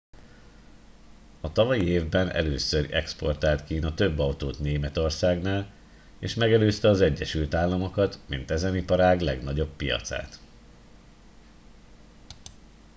a tavalyi évben először exportált kína több autót németországnál és megelőzte az egyesült államokat mint ezen iparág legnagyobb piacát